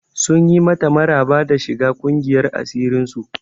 Sun yi mata maraba da shiga ƙungiyar asirin su.